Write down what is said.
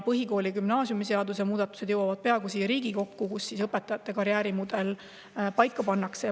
Põhikooli- ja gümnaasiumiseaduse muudatused, millega õpetajate karjäärimudel paika pannakse, jõuavad peagi siia Riigikokku.